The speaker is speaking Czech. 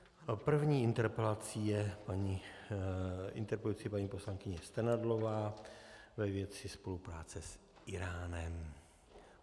První interpelací je interpelující paní poslankyně Strnadlová ve věci spolupráce s Íránem.